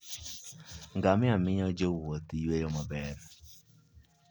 Ngamia miyo jowuoth yueyo maber.